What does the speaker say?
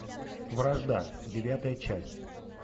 вражда девятая часть